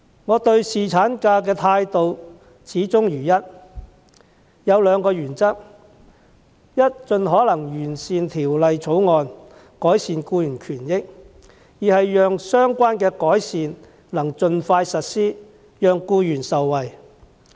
我對侍產假的態度始終如一，持兩項原則：第一，是盡可能完善《條例草案》，改善僱員權益，以及第二，讓相關的改善能盡快實施，讓僱員受惠。